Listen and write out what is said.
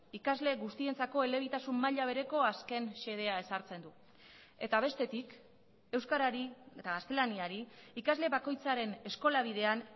ikasle guztientzako elebitasun maila bereko azken xedea ezartzen du eta bestetik euskarari eta gaztelaniari ikasle bakoitzaren eskola bidean